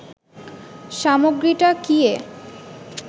সামগ্রীটা কি এ